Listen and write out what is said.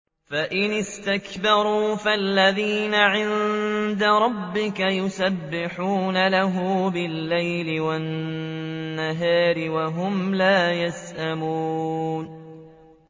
فَإِنِ اسْتَكْبَرُوا فَالَّذِينَ عِندَ رَبِّكَ يُسَبِّحُونَ لَهُ بِاللَّيْلِ وَالنَّهَارِ وَهُمْ لَا يَسْأَمُونَ ۩